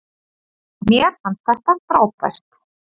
Mér fannst þetta frábært.